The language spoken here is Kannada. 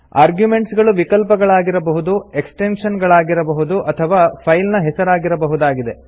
ಆರ್ಗುಮೆಂಟ್ಸ್ ಗಳು ವಿಕಲ್ಪಗಳಾಗಿರಬಹುದು ಎಕ್ಸ್ಪ್ರೆಶನ್ ಗಳಾಗಿರಬಹುದು ಅಥವಾ ಫೈಲ್ ನ ಹೆಸರಾಗಿರಬಹುದಾಗಿದೆ